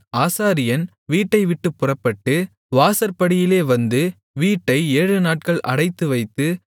ஆசாரியன் வீட்டைவிட்டுப் புறப்பட்டு வாசற்படியிலே வந்து வீட்டை ஏழுநாட்கள் அடைத்துவைத்து